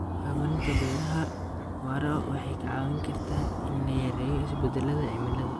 Hormarinta beeraha waara waxay ka caawin kartaa in la yareeyo isbedellada cimilada.